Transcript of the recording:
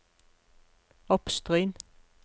Oppstryn